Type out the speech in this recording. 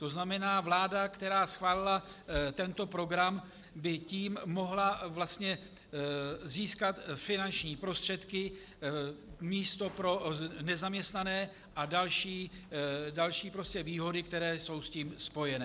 To znamená, vláda, která schválila tento program, by tím mohla vlastně získat finanční prostředky, místa pro nezaměstnané a další výhody, které jsou s tím spojeny.